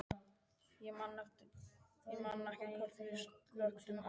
Ég man ekki hvort við slökktum á því.